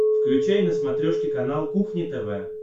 включай на смотрешке канал кухня тв